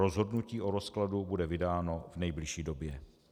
Rozhodnutí o rozkladu bude vydáno v nejbližší době.